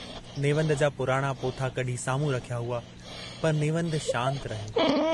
नेवंद जा पुराणा पोथा कढी सामुहूं रखिया हुआ, पर नेवंद शान्त रहियो।